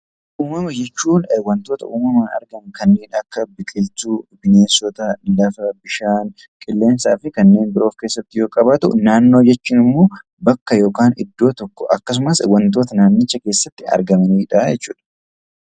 Uumama jechuun wantoota uumamaan argaman kanneen akka biqiloota, bineensota, qilleensaa fi kanneen biroo of keessatti qabatu, naannoo jechuun immoo bakka yookiin iddoo tokko akkasumas naannicha keessatti argamanidha